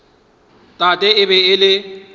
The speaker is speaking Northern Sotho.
tate e be e le